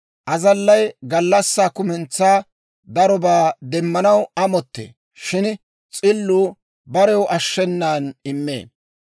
Azallay gallassaa kumentsaa darobaa demmanaw amottee; shin s'illuu barew ashshenan immee.